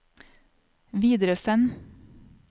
videresend